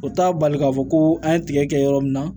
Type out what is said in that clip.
O t'a bali k'a fɔ ko an ye tigɛ kɛ yɔrɔ min na